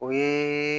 O ye